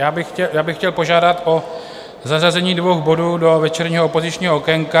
Já bych chtěl požádat o zařazení dvou bodů do večerního opozičního okénka.